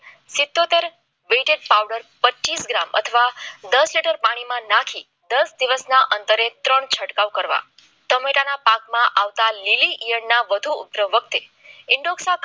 સિટીઓતેર powder પચીસ gram અથવા દસ લિટર પાણીમાં નાખી દસ દિવસના અંતરે છંટકાવ કરવા ટમેટાના પાકમાં આવતા લીલી યાડના વખતે ઇન્ડોક્સા